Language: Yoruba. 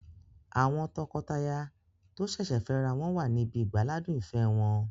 Àwọn tọkọtaya tó sẹ̀sẹ̀ fẹ́ ra wọn wà níbi ìgbáládùn ìfẹ́ wọn